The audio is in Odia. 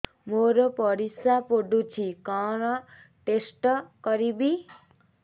ମୋର ପରିସ୍ରା ପୋଡୁଛି କଣ ଟେଷ୍ଟ କରିବି